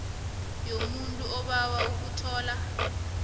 yomuntu obawa ukuthola